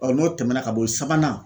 Ɔ n'o tɛmɛna ka bo yen sabanan